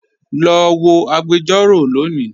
Lọ wọ̀ agbẹ̀jọ̀rọ̀ lónì